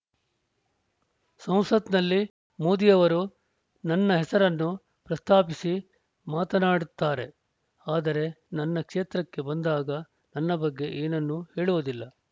ಸಂಸತ್‌ನಲ್ಲಿ ಮೋದಿ ಅವರು ನನ್ನ ಹೆಸರನ್ನು ಪ್ರಸ್ತಾಪಿಸಿ ಮಾತನಾಡುತ್ತಾರೆ ಆದರೆ ನನ್ನ ಕ್ಷೇತ್ರಕ್ಕೆ ಬಂದಾಗ ನನ್ನ ಬಗ್ಗೆ ಏನನ್ನು ಹೇಳುವುದಿಲ್ಲ